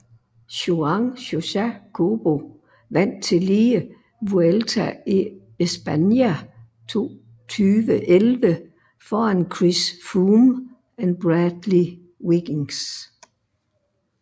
Juan Josa Cobo vandt tillige Vuelta a España 2011 foran Chris Froome og Bradley Wiggins